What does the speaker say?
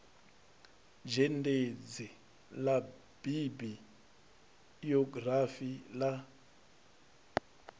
zhendedzi ḽa bibi iogirafi ḽa